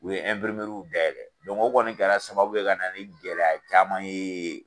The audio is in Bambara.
U ye o kɔni kɛra sababu ye ka na ni gɛlɛya caman ye.